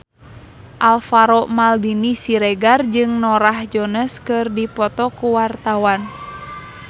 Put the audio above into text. Alvaro Maldini Siregar jeung Norah Jones keur dipoto ku wartawan